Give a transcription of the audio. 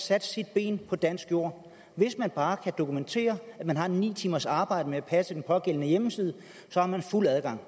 sat sine ben på dansk jord hvis man bare kan dokumentere at man har ni timers arbejde med at passe den pågældende hjemmeside har man fuld adgang